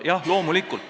Jah, loomulikult.